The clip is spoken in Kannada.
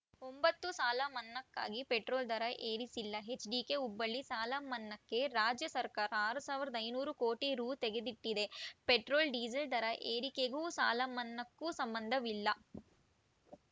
ಒಂಬತ್ತು ಸಾಲಮನ್ನಾಕ್ಕಾಗಿ ಪೆಟ್ರೋಲ್‌ ದರ ಏರಿಸಿಲ್ಲ ಎಚ್‌ಡಿಕೆ ಹುಬ್ಬಳ್ಳಿ ಸಾಲಮನ್ನಾಕ್ಕೆ ರಾಜ್ಯ ಸರ್ಕಾರ ಆರ್ ಸಾವಿರದ ಐದುನೂರು ಕೋಟಿ ರು ತೆಗೆದಿಟ್ಟಿದೆ ಪೆಟ್ರೋಲ್‌ ಡೀಸೆಲ್‌ ದರ ಏರಿಕೆಗೂ ಸಾಲಮನ್ನಾಕ್ಕೂ ಸಂಬಂಧವಿಲ್ಲ